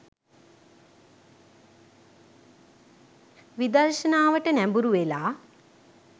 විදර්ශනාවට නැඹුරුවෙලා